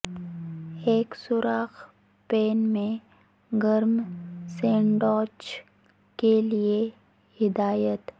ایک سوراخ پین میں گرم سینڈوچ کے لئے ہدایت